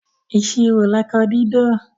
Ìṣirò lọkọ dídó